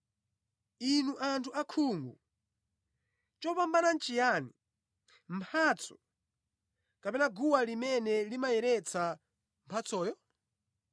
Inu anthu akhungu! Chopambana nʼchiyani: mphatso, kapena guwa limene limayeretsa mphatsoyo?